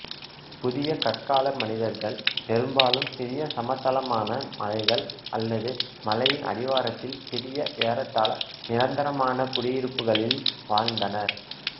புதிய கற்கால மனிதர்கள் பெரும்பாலும் சிறிய சமதளமான மலைகள் அல்லது மலையின் அடிவாரத்தில் சிறிய ஏறத்தாழ நிரந்தரமான குடியிருப்புகளில் வாழ்ந்தனர்